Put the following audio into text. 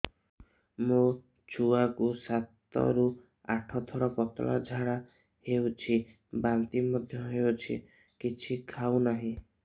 ମୋ ଛୁଆ କୁ ସାତ ରୁ ଆଠ ଥର ପତଳା ଝାଡା ହେଉଛି ବାନ୍ତି ମଧ୍ୟ୍ୟ ହେଉଛି କିଛି ଖାଉ ନାହିଁ